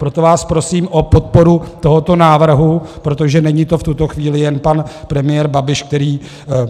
Proto vás prosím o podporu tohoto návrhu, protože není to v tuto chvíli jen pan premiér Babiš, který